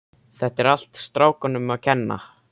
Þetta er allt strákunum að kenna.